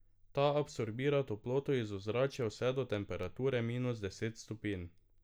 Ta absorbira toploto iz ozračja vse do temperature minus deset stopinj.